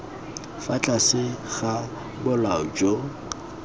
fa tlase ga bolao jo